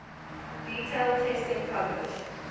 detailed testing published